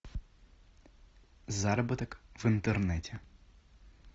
заработок в интернете